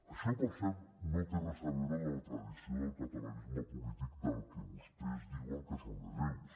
això per cert no té res a veure amb la tradició del catalanisme polític del que vostès diuen que són hereus